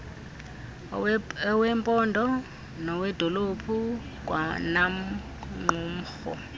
owephondo nowedolophu kwanamqumrhu